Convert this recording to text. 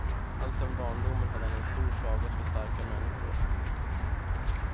Alltsedan barndomen hade han en stor svaghet för starka människor.